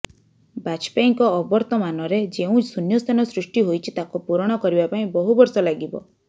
ବାଜପେୟୀଙ୍କ ଅବର୍ତ୍ତମାନରେ ଯେଉଁ ଶୂନ୍ୟସ୍ଥାନ ସୃଷ୍ଟି ହୋଇଛି ତାକୁ ପୂରଣ କରିବା ପାଇଁ ବହୁବର୍ଷ ଲାଗିବ